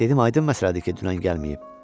Dedim, aydın məsələdir ki, dünən gəlməyib.